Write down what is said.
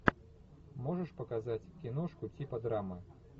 можешь показать киношку типа драма